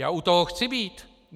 Já u toho chci být.